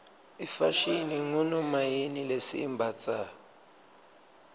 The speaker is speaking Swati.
ifashini ngunomayini lesiyimbatsalo